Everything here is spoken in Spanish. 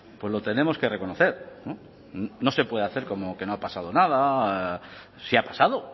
pues lo tenemos que reconocer no se puede hacer como que no ha pasado nada sí ha pasado